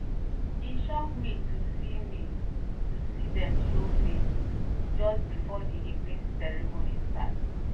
e shock me to see me to see dem show face just before the evening ceremony start